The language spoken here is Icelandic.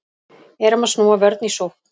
Erum að snúa vörn í sókn